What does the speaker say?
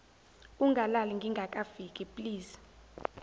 ungalali ngingakafiki please